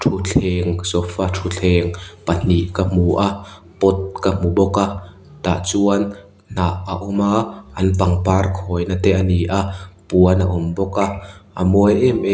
thuthleng sofa thuthleng pahnih ka hmu a pot ka hmu bawk a tah chuan hnah a awm a an pangpar khawina te a ni a puan a awm bawk a a mawi em em --